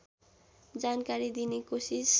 जानकारी दिने कोसिस